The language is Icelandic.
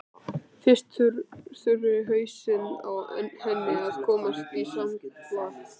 Fyrst þurfi hausinn á henni að komast í samt lag.